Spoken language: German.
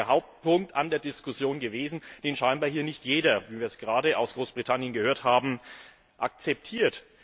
Das ist der Hauptpunkt an der Diskussion gewesen, den anscheinend hier nicht jeder wie wir es gerade aus Großbritannien gehört haben akzeptiert.